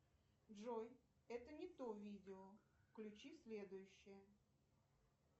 джой это не то видео включи следующее